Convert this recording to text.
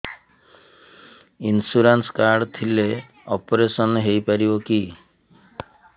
insurance card ଥିଲେ operation ହେଇପାରିବ କି